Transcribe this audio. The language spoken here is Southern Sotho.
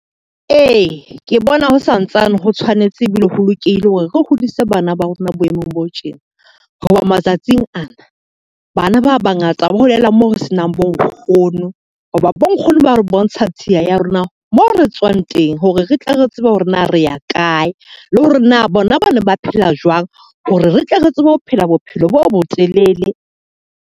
Ee, ke bona ho santsane ho tshwanetse ebile ho lokile hore re hodise bana ba rona boemong bo tjena. Ho ba matsatsing ana bana ba ba ngata ba holela moo re senang bo nkgono. Ho ba bo nkgono ba re bontsha tsheya ya rona mo re tswang teng, hore re tle re tsebe hore na re ya kae le hore na bona ba ne ba phela jwang hore re tle re tsebe ho phela bophelo bo bo telele.